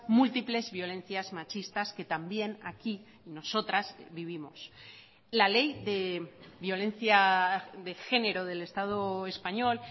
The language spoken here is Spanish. múltiples violencias machistas que también aquí nosotras vivimos la ley de violencia de género del estado español